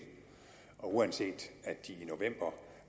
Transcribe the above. og uanset at de i november